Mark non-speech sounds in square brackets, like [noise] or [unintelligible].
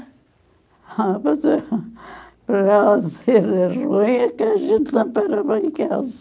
[unintelligible] Para ela ser ruim é que a gente não para em casa.